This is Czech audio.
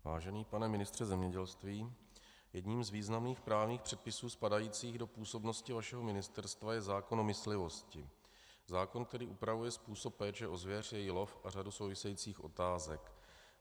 Vážený pane ministře zemědělství, jedním z významných právních předpisů spadajících do působnosti vašeho ministerstva je zákon o myslivosti, zákon, který upravuje způsob péče o zvěř, její lov a řadu souvisejících otázek.